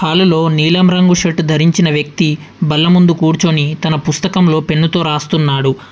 హాలులో నీలం రంగు షర్టు ధరించిన వ్యక్తి బల్ల ముందు కూర్చొని తన పుస్తకంలో పెన్నుతో రాస్తున్నాడు.